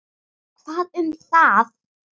Hvað um það.